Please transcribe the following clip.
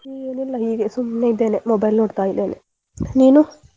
ಏನಿಲ್ಲ ಹೀಗೆ ಸುಮ್ನೆ ಇದ್ದೇನೆ mobile ನೋಡ್ತಾ ಇದ್ದೇನೆ ನೀನು?